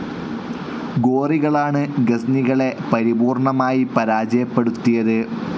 ഗൊറികളാണ് ഗസ്നികളെ പരിപൂർണ്ണമായി പരാജയപ്പെടുത്തിയത്.